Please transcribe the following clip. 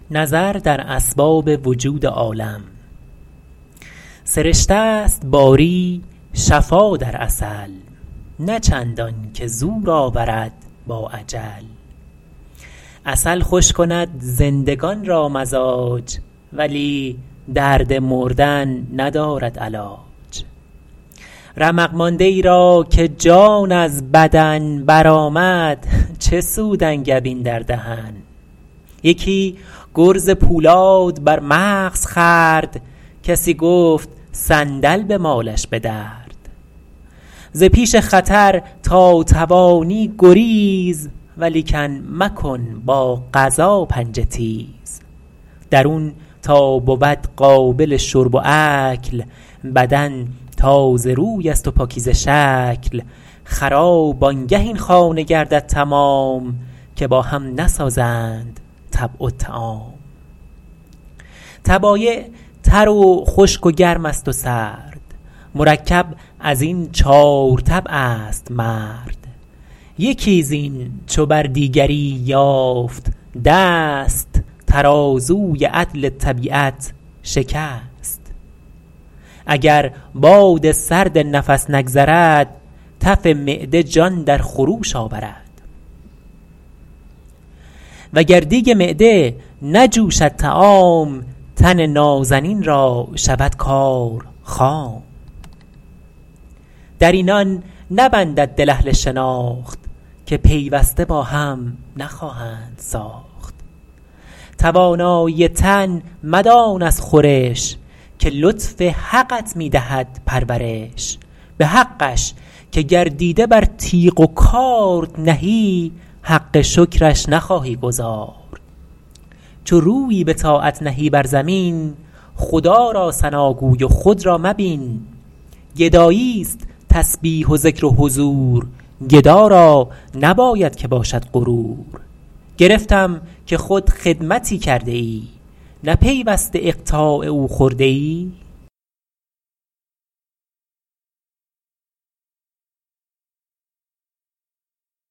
سرشته ست باری شفا در عسل نه چندان که زور آورد با اجل عسل خوش کند زندگان را مزاج ولی درد مردن ندارد علاج رمق مانده ای را که جان از بدن برآمد چه سود انگبین در دهن یکی گرز پولاد بر مغز خورد کسی گفت صندل بمالش به درد ز پیش خطر تا توانی گریز ولیکن مکن با قضا پنجه تیز درون تا بود قابل شرب و اکل بدن تازه روی است و پاکیزه شکل خراب آنگه این خانه گردد تمام که با هم نسازند طبع و طعام طبایع تر و خشک و گرم است و سرد مرکب از این چار طبع است مرد یکی زین چو بر دیگری یافت دست ترازوی عدل طبیعت شکست اگر باد سرد نفس نگذرد تف معده جان در خروش آورد وگر دیگ معده نجوشد طعام تن نازنین را شود کار خام در اینان نبندد دل اهل شناخت که پیوسته با هم نخواهند ساخت توانایی تن مدان از خورش که لطف حقت می دهد پرورش به حقش که گر دیده بر تیغ و کارد نهی حق شکرش نخواهی گزارد چو رویی به طاعت نهی بر زمین خدا را ثناگوی و خود را مبین گدایی است تسبیح و ذکر و حضور گدا را نباید که باشد غرور گرفتم که خود خدمتی کرده ای نه پیوسته اقطاع او خورده ای